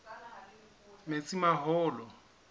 metsimaholo